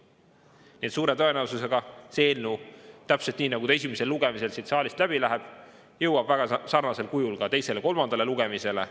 Nii et suure tõenäosusega see eelnõu täpselt nii, nagu ta esimesel lugemisel siit saalist läbi läheb, jõuab väga sarnasel kujul ka teisele-kolmandale lugemisele.